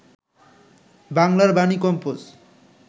বাংলার বাণী কম্পোজ